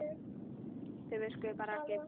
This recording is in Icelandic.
Þau virkuðu bara ekki.